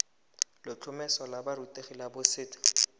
letlhomeso la borutegi la boset